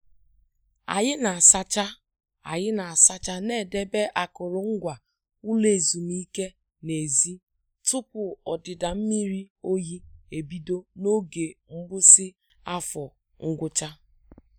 Anyị na- asacha Anyị na- asacha na edebe akụrụngwa ụlọ ezumike n' ezi tupu ọdịda mmiri oyi ebido n' oge mgbụsị afọ ngwụcha.